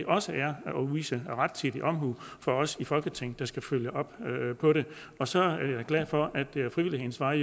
også er rettidig omhu fra os i folketinget der skal følge op på det og så er jeg glad for at det er ad frivillighedens vej